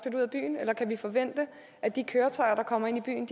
ud af byen eller kan vi forvente at de køretøjer der kommer ind i byen